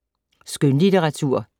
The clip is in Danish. Skønlitteratur